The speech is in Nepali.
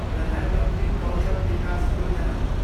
प्रधान मन्त्री कौशल विकास योजना